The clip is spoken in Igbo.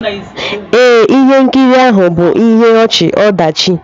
Ee, ihe nkiri ahụ bụ ihe ọchị-ọdachi.